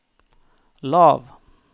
lav